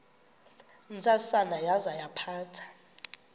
ntsasana yaza yaphatha